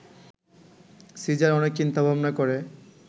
caesar অনেক চিন্তা-ভাবনা করে